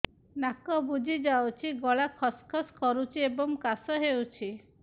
ନାକ ବୁଜି ଯାଉଛି ଗଳା ଖସ ଖସ କରୁଛି ଏବଂ କାଶ ହେଉଛି